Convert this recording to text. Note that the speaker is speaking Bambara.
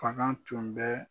Fanga tun bɛ